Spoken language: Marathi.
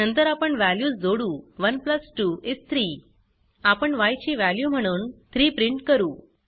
नंतर आपण वॅल्यूज जोडू 1 प्लस 2 इस 3 आपण य ची वॅल्यू म्हणून 3 प्रिंट करू